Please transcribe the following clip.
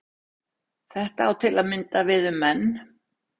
Þetta á til að mynda við um menn.